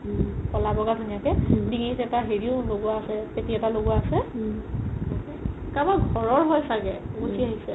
ক'লা বগা ধুনীয়াকে ডিঙিত এটা হেৰিও লগোৱা আছে পেতি এদাল এটা লগোৱা আছে কাৰবাৰ ঘৰৰ হয় চাগে গুচি আহিছে